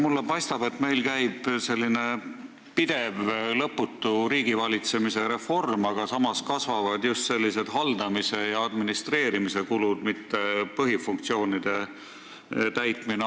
Mulle paistab, et meil käib pidev ja lõputu riigivalitsemise reform, aga samas kasvavad just haldamis- ja administreerimiskulud, mitte ei ole jutt põhifunktsioonide täitmisest.